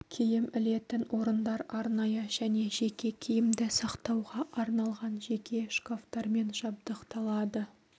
киім ілетін орындар арнайы және жеке киімді сақтауға арналған жеке шкафтармен жабдықталады